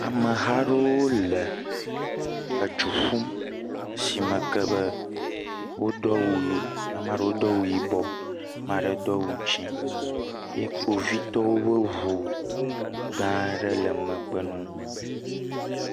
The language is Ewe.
Ameha aɖewo le edu ƒum, le esime ke be wodo awu ame aɖewo do awu yibɔ, ame aɖewo do awu dzɛ̃ame aɖewo do awu ʋi ye kpovitɔwo ƒe ŋu gã aɖe le megbe na wo.